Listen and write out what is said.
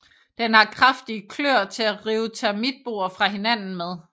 Den har kraftige kløer til at rive termitboer fra hinanden med